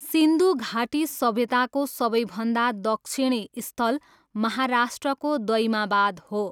सिन्धु घाटी सभ्यताको सबैभन्दा दक्षिणी स्थल महाराष्ट्रको दइमाबाद हो।